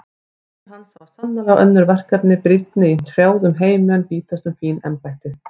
Þjónar hans hafa sannarlega önnur verkefni brýnni í hrjáðum heimi en bítast um fín embætti.